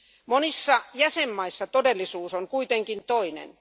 Monissa jäsenmaissa todellisuus on kuitenkin toinen.